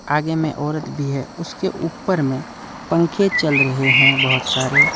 आगे में औरत भी है उसके ऊपर में पंखे चल रहे हैं बहुत सारे।